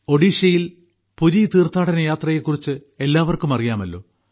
ഒറീസയിൽ പുരി തീർഥാടന യാത്രയെ കുറിച്ച് എല്ലാർക്കും അറിയാമല്ലോ